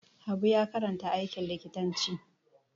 Habu ya karanta aikin likitanci.